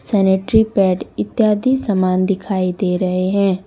Sanitary pad इत्यादि समान दिखाई दे रहे हैं।